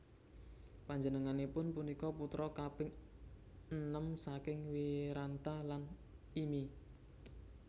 Panjenenganipun punika putra kaping enem saking Wiranta lan Imi